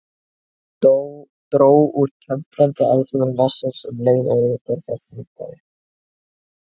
Það dró úr temprandi áhrifum vatnsins um leið og yfirborð þess minnkaði.